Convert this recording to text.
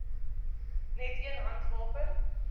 net een handwapen